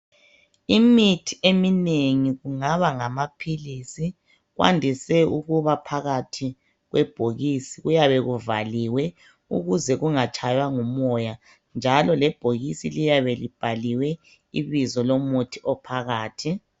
Imithi eminengi kungaba ngamaphilisi, kwandise ukuba phakathi kwebhokisi. Kuyabe kuvaliwe ukuze kungatshaywa ngumoya, njalo lebhokisi liyabe libhaliwe ibizo lomuthi ophakathi.